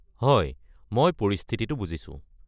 হয়, মই পৰিস্থিতিটো বুজিছোঁ।